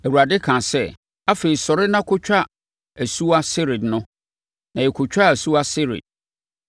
Awurade kaa sɛ, “Afei, sɔre na kɔtwa asuwa Sered no.” Na yɛkɔtwaa asuwa Sered.